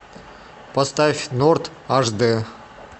поставь норт аш дэ